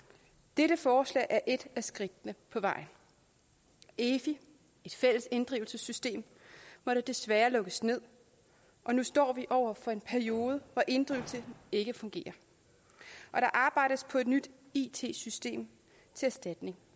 dette forslag er et af skridtene på vejen efi et fælles inddrivelsessystem måtte desværre lukkes ned og nu står vi over for en periode hvor inddrivelsen ikke fungerer og der arbejdes på et nyt it system til erstatning